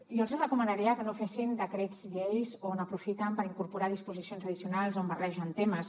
jo els hi recomanaria que no fessin decrets llei on aprofiten per incorporar disposicions addicionals on barregen temes